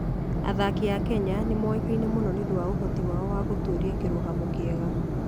Athaki a Kenya nĩ moĩkaine mũno nĩ ũndũ wa ũhoti wao wa gũtũũria kĩrũgamo kĩega.